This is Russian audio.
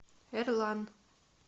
эрлан